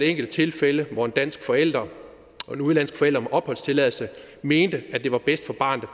enkelte tilfælde hvor en dansk forælder og en udenlandsk forælder med opholdstilladelse mente at det var bedst for barnet